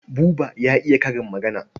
Buba ya iya karin magana.